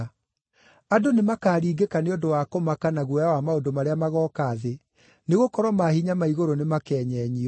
Andũ nĩmakaringĩka nĩ ũndũ wa kũmaka, na guoya wa maũndũ marĩa magooka thĩ, nĩgũkorwo maahinya ma igũrũ nĩmakenyenyio.